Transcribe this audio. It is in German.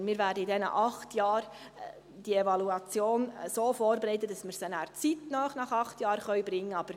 Sondern wir werden in diesen acht Jahren die Evaluation so vorbereiten, dass wir sie nachher zeitnah nach acht Jahren bringen können.